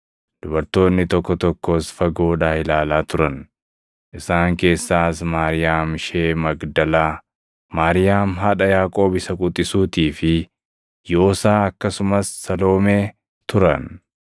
Dubartoonni tokko tokkos fagoodhaa ilaalaa turan. Isaan keessaas Maariyaam ishee Magdalaa, Maariyaam haadha Yaaqoob isa quxisuutii fi Yoosaa akkasumas Saloomee turan.